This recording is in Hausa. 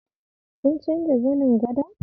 Kin canza zanin gadon?